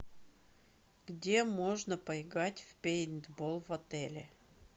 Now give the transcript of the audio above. где можно поиграть в пейнтбол в отеле